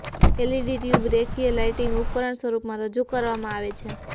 LED tube રેખીય lighting ઉપકરણ સ્વરૂપમાં રજૂ કરવામાં આવે છે